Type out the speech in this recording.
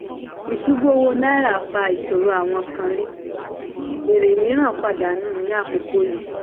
ìṣubú owó naira fà ìṣòro àwọn kan rí èrè mìíràn pàdánù ní àkókò yìí.